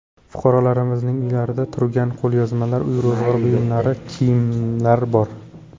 Fuqarolarimizning uylarida turgan qo‘lyozmalar, uy-ro‘zg‘or buyumlari, kiyimlar bor.